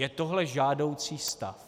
Je tohle žádoucí stav?